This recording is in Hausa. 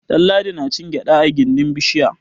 Ɗanladi na cin gyaɗa a gindin bishiya.